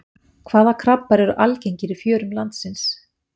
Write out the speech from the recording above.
Hvaða krabbar eru algengir í fjörum landsins?